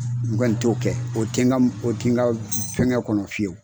N kɔni t'o tɛ n ka fɛngɛ kɔnɔ fiyewu